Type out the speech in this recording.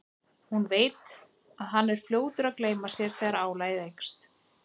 Hún veit að hann er fljótur að gleyma sér þegar álagið eykst.